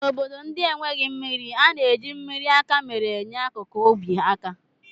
N'obodo ndị enweghị mmiri, a na-eji mmiri akamere enyere akụkụ ubi aka